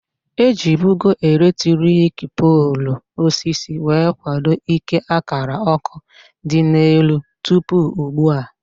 Ejibugo elektriki poolu osisi wee kwado ike akara ọkụ dị n'elu tụpụ ugbua